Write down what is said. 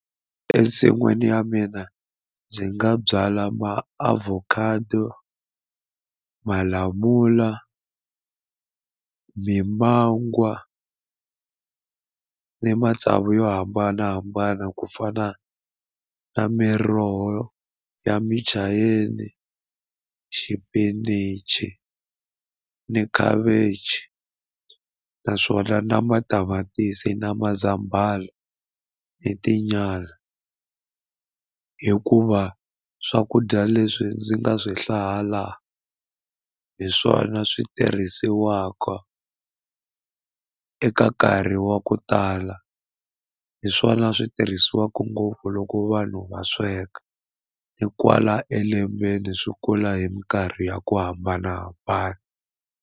Ensin'wini ya mina ndzi nga byala maavokhado malamula mimangwa ni matsavu yo hambanahambana ku fana na miroho ya muchayeni xipinichi ni khavichi naswona na matamatisi na mazambhala ni tinyala hikuva swakudya leswi ndzi nga swi hlaya la hi swona swi tirhisiwaka eka nkarhi wa ku tala hi swona swi tirhisiwaka ngopfu loko vanhu va sweka ni kwala elembeni swi kula hi mikarhi ya ku hambanahambana.